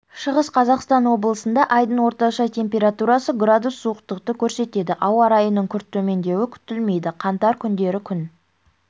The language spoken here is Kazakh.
шығыс қазақстан облысындаайдың орташа температурасы градус суықтықты көрсетеді ауа райының күрт төмендеуі күтілмейді қаңтар күндері күн